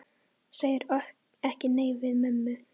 Segir ekki nei við mömmu!